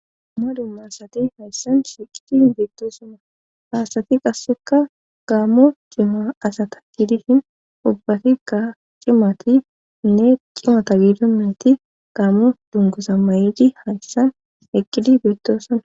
Dumma dumma asati hayssan shiiqidi bittosuma haasati qasseka gaammo jima asata giidishin ubbatikka cimati nne cimata giidimeti gaammo dungosa ma,edi hayssan eqqidi bittosaa.